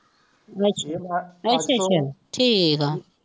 ਅੱਛਾ ਅੱਛਾ ਅੱਛਾ ਠੀਕ ਹੈ